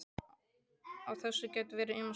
Á þessu geta verið ýmsar skýringar.